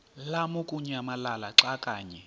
lamukunyamalala xa kanye